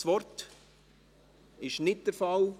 – Dies ist nicht der Fall.